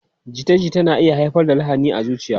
Jita-jita na iya haifar da lahani a zuciya.